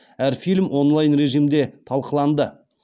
әр фильм онлайн режимде талқыланды